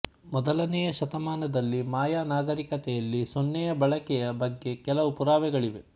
ಮೊದಲನೇ ಶತಮಾನದಲ್ಲಿ ಮಾಯ ನಾಗರೀಕತೆಯಲ್ಲಿ ಸೊನ್ನೆಯ ಬಳಕೆಯ ಬಗ್ಗೆ ಕೆಲವು ಪುರಾವೆಗಳಿವೆ